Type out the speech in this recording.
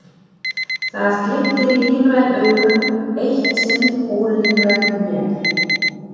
Það glittir í lífræn augu, eitt sinn ólífræn mér.